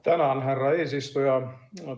Tänan, härra eesistuja!